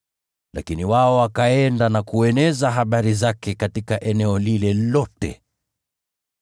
Lakini wao wakaenda na kueneza habari zake katika eneo lile lote.